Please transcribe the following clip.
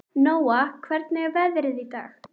Nóa, hvernig er veðrið í dag?